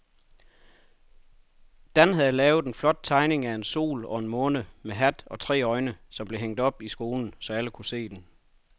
Dan havde lavet en flot tegning af en sol og en måne med hat og tre øjne, som blev hængt op i skolen, så alle kunne se den.